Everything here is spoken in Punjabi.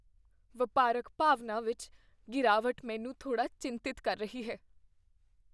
ਵਪਾਰਕ ਭਾਵਨਾ ਵਿੱਚ ਗਿਰਾਵਟ ਮੈਨੂੰ ਥੋੜ੍ਹਾ ਚਿੰਤਤ ਕਰ ਰਹੀ ਹੈ।